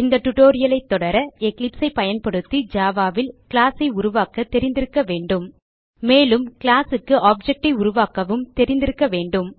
இந்த டியூட்டோரியல் ஐ தொடர எக்லிப்ஸ் ஐ பயன்படுத்தி ஜாவா ல் கிளாஸ் ஐ உருவாக்க தெரிந்திருக்க வேண்டும் மேலும் கிளாஸ் க்கு ஆப்ஜெக்ட் ஐ உருவாக்கவும் தெரிந்திருக்க வேண்டும்